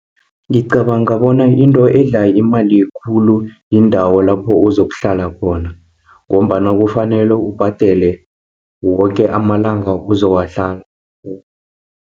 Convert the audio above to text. Ngicabanga bona into edla imali khulu, yindawo lapho uzokuhlala khona, ngombana kufanele ubhadele woke amalanga ozowahlala.